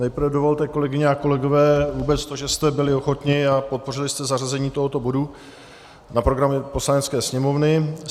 Nejprve dovolte, kolegyně a kolegové, vůbec to, že jste byli ochotni a podpořili jste zařazení tohoto bodu na program Poslanecké sněmovny.